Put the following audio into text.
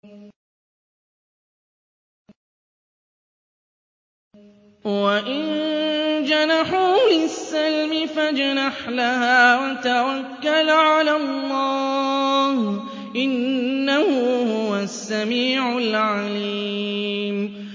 ۞ وَإِن جَنَحُوا لِلسَّلْمِ فَاجْنَحْ لَهَا وَتَوَكَّلْ عَلَى اللَّهِ ۚ إِنَّهُ هُوَ السَّمِيعُ الْعَلِيمُ